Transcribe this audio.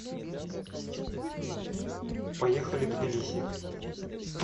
поехали тбилиси